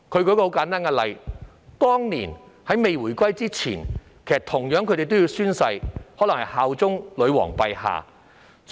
他們舉了一個簡單的例子，就是回歸前，公職人員同樣要宣誓效忠女皇陛下。